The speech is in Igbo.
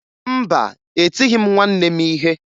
Mba, etighi m nwanne m ihe